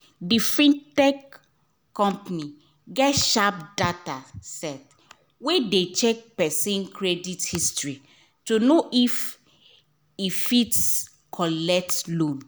d fintech company get sharp data set wey dey check person credit history to know if e fit collect loan